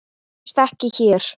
Það gerist ekki hér.